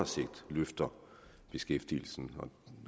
sigt løfter beskæftigelsen